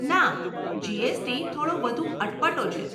ના, જીએસટી થોડો વધુ અટપટો છે.